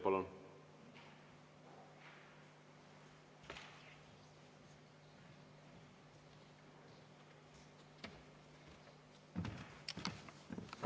Palun!